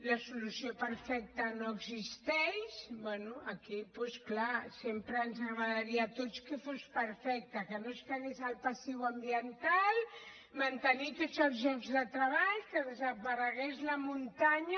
la solució perfecta no existeix bé aquí clar sempre ens agradaria a tots que fos perfecta que no es quedés el passiu ambiental mantenir tots els llocs de treball que desaparegués la muntanya